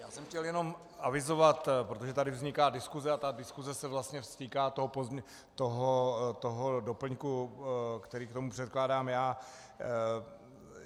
Já jsem chtěl jenom avizovat, protože tady vzniká diskuse a ta diskuse se vlastně týká toho doplňku, který k tomu předkládám já.